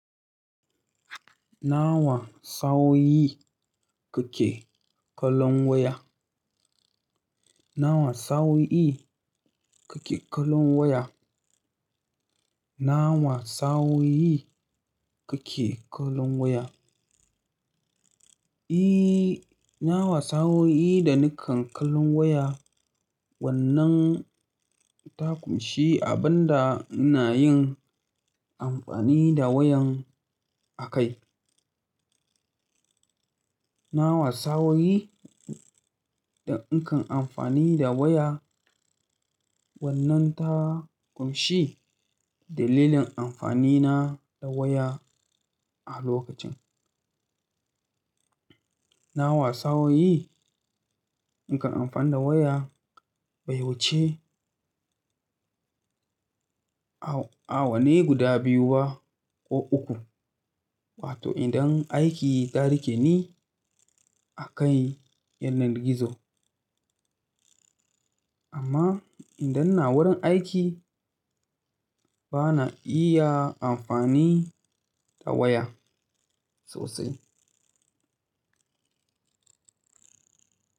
Nawa sa'o'i kake kallon waya? Nawa sawo yi kake kallon waya? Nawa sawo yi kake kallon waya? Nawa sa'o'i da nakan kallon waya, wannan ta ƙunshi abin da ina yin amfani da wayan a kai. Nawa sawo yi da in kan amfani da waya, wannan ta ƙunshi dalilin amfani na da waya a lokacin. Nawa sa'o'i nakan amfani da waya, bai wuce awanni guda biyu ba ko uku, wato idan aiki ya riƙe ni akan yanar gizo. Amma idan ina wurin aiki, bana iya amfani da waya sosai.